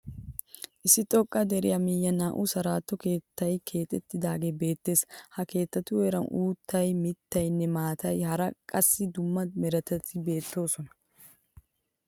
Issi xoqqa deriya miyyiyan naa"u saritto keettayi keexettidaagee beettees. Ha keettatu heeran uuttay, mittayinne maatay hara qassi dumma meretati beettoosona.